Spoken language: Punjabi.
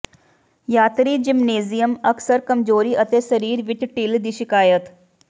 ਯਾਤਰੀ ਜ਼ਿਮਨੇਜ਼ੀਅਮ ਅਕਸਰ ਕਮਜ਼ੋਰੀ ਅਤੇ ਸਰੀਰ ਵਿਚ ਢਿੱਲ ਦੀ ਸ਼ਿਕਾਇਤ